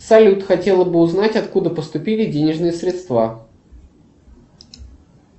салют хотела бы узнать откуда поступили денежные средства